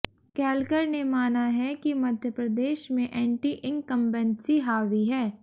केलकर ने माना है कि मध्य प्रदेश में एंटी इंकम्बेंसी हावी है